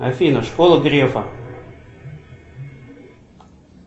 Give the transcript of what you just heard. афина школа грефа